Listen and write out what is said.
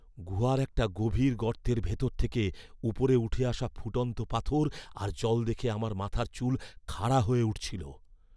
গুহার একটা গভীর গর্তের ভেতর থেকে ওপরে উঠে আসা ফুটন্ত পাথর আর জল দেখে আমার মাথার চুল খাড়া হয়ে উঠছিল।